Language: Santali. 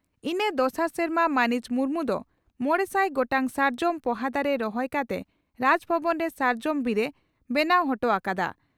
ᱤᱱᱟᱹ ᱫᱚᱥᱟᱨ ᱥᱮᱨᱢᱟ ᱢᱟᱹᱱᱤᱡ ᱢᱩᱨᱢᱩ ᱫᱚ ᱢᱚᱲᱮᱥᱟᱭ ᱜᱚᱴᱟᱝ ᱥᱟᱨᱡᱚᱢ ᱯᱚᱦᱟ ᱫᱟᱨᱮ ᱨᱚᱦᱚᱭ ᱠᱟᱛᱮ ᱨᱟᱡᱽᱵᱷᱚᱵᱚᱱ ᱨᱮ ᱥᱟᱨᱡᱚᱢ ᱵᱤᱨ ᱮ ᱵᱮᱱᱟᱣ ᱚᱴᱚ ᱟᱠᱟᱫᱼᱟ ᱾